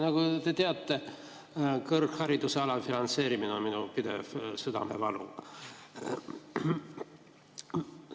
Nagu te teate, kõrghariduse alafinantseerimine on minu pidev südamevalu.